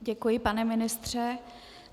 Děkuji, pane ministře.